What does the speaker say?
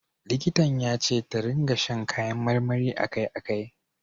Likitan ya ce ta ringa sha kayan marmari a kai a kai.